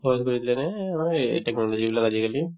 সহজ কৰি দিলে নে এই মানে এই technology বিলাক আজিকালি